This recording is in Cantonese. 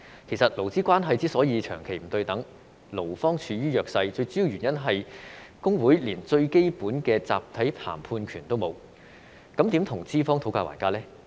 其實，勞資關係之所以長期不對等，勞方處於弱勢，最主要原因是工會連最基本的集體談判權也沒有，那麼如何跟資方討價還價呢？